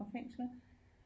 Fra fængslet